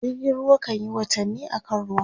jirgin ruwa kanyi watanni a kan ruwa